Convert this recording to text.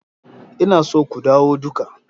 Ina so ku dawo duka.